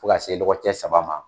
Fo ka se dɔgɔkɛ saba ma.